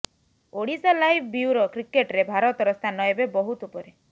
Odisha live bureau କ୍ରିକେଟରେ ଭାରତର ସ୍ଥାନ ଏବେ ବହୁତ ଉପରେ